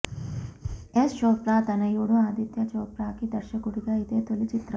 యశ్ చోప్రా తనయుడు ఆదిత్యా చోప్రాకి దర్శకుడిగా ఇదే తొలి చిత్రం